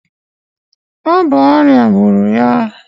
Ọ bụ ọrịa gburu ya